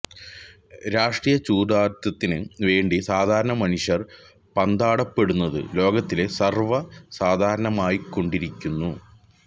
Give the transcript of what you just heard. രാഷ്ട്രീയ ചൂതാട്ടത്തിന് വേണ്ടി സാധാരണ മനുഷ്യര് പാന്താടപ്പെടുന്നത് ലോകത്തില് സര്വ്വ സാധാരണമായിക്കൊണ്ടിരിക്കുന്നു